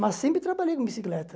Mas sempre trabalhei com bicicleta.